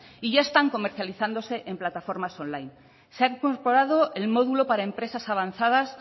y ya están comercializándose en plataformas online se ha incorporado el módulo para empresas avanzadas